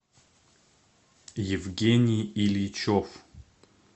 евгений ильичев